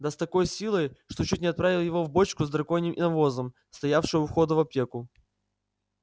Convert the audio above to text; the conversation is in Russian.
да с такой силой что чуть не отправил его в бочку с драконьим навозом стоявшую у входа в аптеку